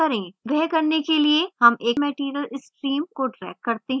वह करने के लिए हम एक material stream को drag करते हैं